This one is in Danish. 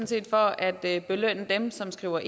set for at belønne dem som skriver